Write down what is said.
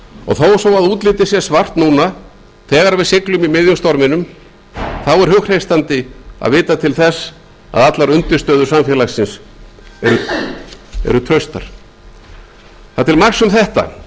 og þó svo að útlitið sé svart núna þegar við siglum í miðjum storminum þá er hughreystandi að vita til þess að allar undirstöður samfélagsins eru traustar það er til marks um þetta